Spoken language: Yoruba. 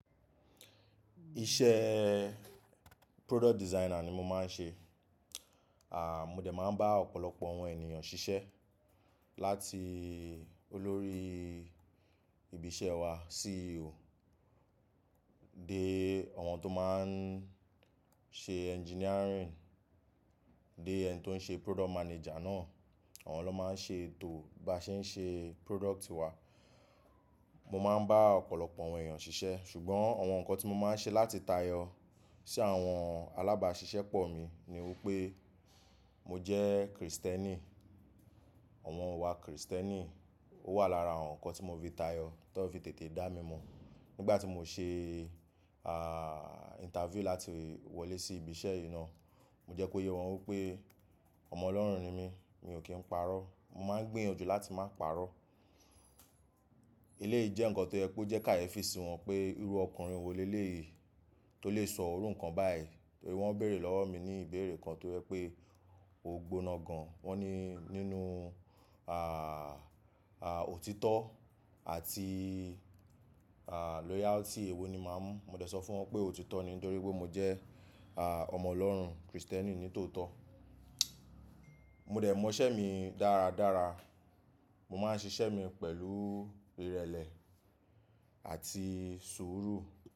Iṣẹ́ product designer ni mo máa ń ṣe. À, mo dẹ̀ máa ń bá ọ̀pọ̀lọpọ̀ àwọn ènìyàn ṣiṣẹ́ láti olórí ibi iṣẹ́ wa, CEO, dé àwọn tó máa ń ṣe engineering, dé ẹni tó ń ṣe product manager náà. Àwọn ló máa ń ṣe ètò bí a ṣe ń ṣe product wa. Mo máa ń bá ọ̀pọ̀lọpọ̀ àwọn ènìyàn ṣiṣẹ́, ṣùgbọ́n àwọn nǹkan tí mo máa ń ṣe láti tayọ sí àwọn alábáṣiṣẹ́ pọ̀ mi ni wípé mo jẹ́ Kristẹ́nì. Àwọn iwá Kristẹ́nì. Ó wà lára àwọn nǹkan tí mo fi tayọ, tí wọ́n fi tètè dá mi mọ̀. Nígbà tí mo ṣe, interview láti wọlé sí ibi iṣẹ́ yìí náà, mo jẹ́ kó yé wọn wípé ọmọ Ọlọ́run ni mí, mi ò kí ń parọ́. Mo máa ń gbìyànjú láti má parọ́. Eléyìí jẹ́ nǹkan tó yẹ peó jẹ́ káyẹ́ fi sì wọ́n pé irú ọkùnrin wo lé léyìí tó lè sọ orú nǹkan báyìí. Torí wọ́n béèrè lọ́wọ́ mi ní ìbéèrè kan tó jẹ pé o gbóná gan. Wọ́n ní nínú, òtítọ́ àti loyalty èwo ni màá mu-- mo dẹ̀ sọ fún wọn pé òtítọ́ ni torí pé mo jẹ́ ọmọ Ọlọ́run, Kristẹ́nì nítòótọ́. Mo dẹ̀ mọ iṣẹ́ mi dára dára. Mo máa ń ṣiṣẹ́ mi pẹ̀lú ìrẹ̀lẹ̀ àti sùúrù.